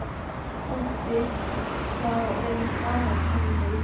Otti, hvað er í dagatalinu í dag?